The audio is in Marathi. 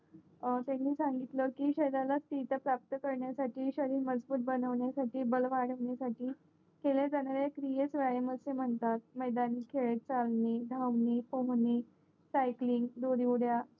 त्यानी सांगितलकी शरीराला तीर्थ प्राप्त करण्यासाठी शरीर मजबूत बनवण्यासाठी बळ वाडवण्या साठी केल्या जाणाऱ्या क्रियेस व्यायाम असे म्हणतात मैदानी खेळ चाळणी धावणी पोहणी सायक्लीन दोरीउड्या